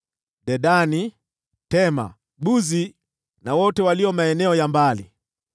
Dedani, Tema, Buzi na wote walio maeneo ya mbali;